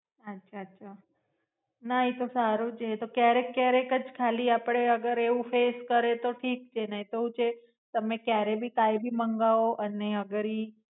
અચ્છા અચ્છા. ના એ તો સારું છે. એતો ક્યારેક ક્યારેક જ થાય ખાલી અગર આપડે એવું ફેસ કરીયે તો ઠીક છે નઈતો શું છે તમે ક્યારે ભી કાંઈ ભી મંગાવો અને અગર ઈ